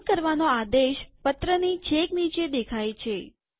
સહી કરવાનો આદેશ પત્રની છેક નીચે દેખાય છે